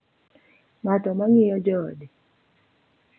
Ng’ano ma ng’iyo joode.